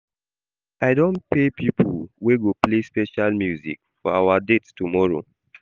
I don pay pipo wey go play special music for our date tomorrow.